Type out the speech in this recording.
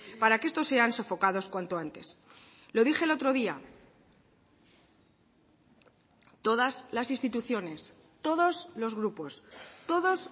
para que estos sean sofocados cuanto antes lo dije el otro día todas las instituciones todos los grupos todos